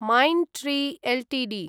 mind tree Ltd